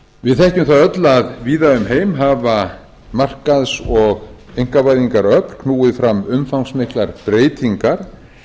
við þekkjum það öll að víða um heima hafa markaðs og einkavæðingaröfl knúið fram umfangsmiklar breytingar